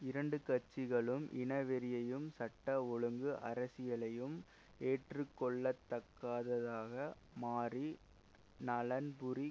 இரண்டு கட்சிகளும் இனவெறியையும் சட்டம் ஒழுங்கு அரசியலையும் ஏற்றுக்கொள்ளத்தக்காததாக மாறி நலன்புரி